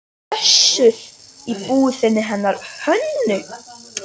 Össur í búðinni hennar Hönnu?